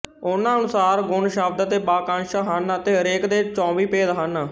ਉਨ੍ਹਾਂ ਅਨੁਸਾਰ ਗੁਣ ਸ਼ਬਦ ਅਤੇ ਵਾਕੰਸ਼ ਹਨ ਅਤੇ ਹਰੇਕ ਦੇ ਚੌਵੀ ਭੇਦ ਹਨ